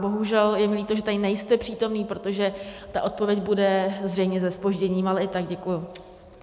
Bohužel, je mi líto, že tady nejste přítomný, protože ta odpověď bude zřejmě se zpožděním, ale i tak děkuji.